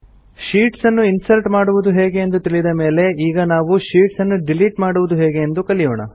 sheets ಅನ್ನು insert ಮಾಡುವುದು ಹೇಗೆ ಎಂದು ತಿಳಿದ ಮೇಲೆ ಈಗ ನಾವು ಶೀಟ್ಸ್ ಅನ್ನು ಡಿಲೀಟ್ ಮಾಡುವುದು ಹೇಗೆ ಎಂದು ಕಲಿಯೋಣ